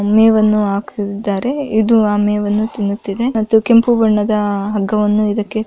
ಮೇವನ್ನು ಹಾಕಿದ್ದಾರೆ ಇದು ಆ ಮೇವನ್ನು ತಿನ್ನುತ್ತಿದೆ. ಮತ್ತೆ ಕೆಂಪು ಬಣ್ಣದ ಹಗ್ಗವನ್ನು ಇದಕ್ಕೆ--